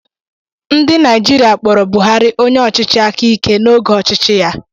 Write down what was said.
Ndị Naijiria kpọrọ Buhari onye ọchịchị aka ike n'oge ọchịchị ya.